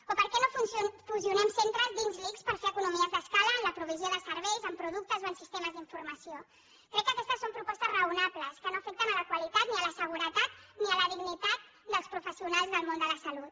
o per què no fusionem centres dins l’ics per fer economies d’escala en la provisió de serveis en productes o en sistemes d’informació crec que aquestes són propostes raonables que no afecten la qualitat ni la seguretat ni la dignitat dels professionals del món de la salut